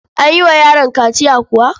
An yi wa yaron kaciya kuwa?